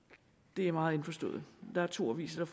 det er meget indforstået der er to aviser